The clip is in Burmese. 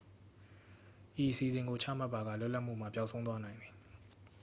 ဤအစီအစဉ်ကို ချမှတ်ပါက လွတ်လပ်မှုမှာ ပျောက်ဆုံးသွားနိုင်သည်